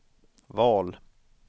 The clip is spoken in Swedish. val